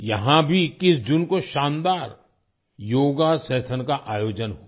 यहाँ भी 21 जून को शानदार योगा सेशन का आयोजन हुआ